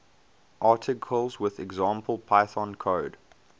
articles with example python code